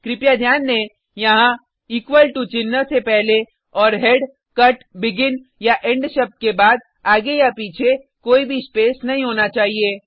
कृपया ध्यान दें यहाँ टो चिन्ह से पहले और हेड कट बेगिन या इंड शब्द के बाद आगे या पीछे कोई भी स्पेस नहीं होना चाहिए